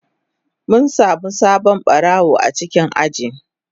Mun samu sabon barawo a cikin ajin.